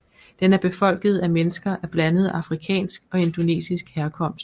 Den er befolket af mennesker af blandet afrikansk og indonesisk herkomst